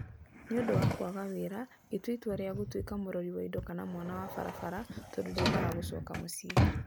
Nĩ ũndũ wa kwaga wĩra, ngĩtua itua rĩa gũtuĩka mũrori wa indo kana mwana wa barabara tondũ ndiendaga gũcoka mũciĩ.